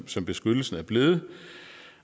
som beskyttelsen er blevet